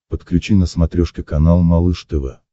подключи на смотрешке канал малыш тв